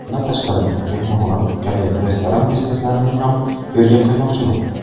Bundan tashqari mehmonxona, kafe, restoran bizneslarini ham yo‘lga qo‘ymoqchiman.